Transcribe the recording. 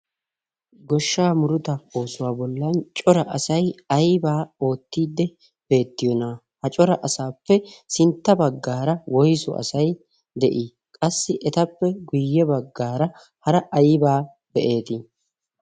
goshshaa muruta oosuwaa bollan cora asai aibaa oottiidde beettiyoona? ha cora asaappe sintta baggaara woisu asai de7ii? qassi etappe guyye baggaara hara aibaa be7eetii?